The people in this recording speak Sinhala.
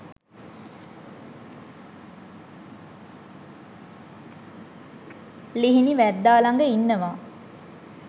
ලිහිණි වැද්දා ළඟ ඉන්නවා